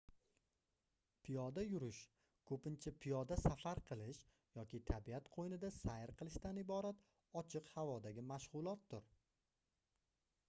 piyoda yurish koʻpincha piyoda safar qilish yoki tabiat qoʻynida sayr qilishdan iborat ochiq havodagi mashgʻulotdir